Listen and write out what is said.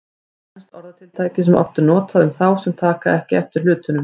Til er enskt orðatiltæki sem oft er notað um þá sem taka ekki eftir hlutunum.